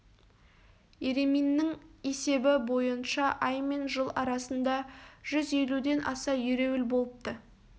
ереминнің есебі бойынша ай мен жыл арасында жүз елуден аса ереуіл болыпты